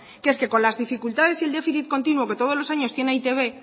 que es que con las dificultades y el déficit continuo que todos los años tiene e i te be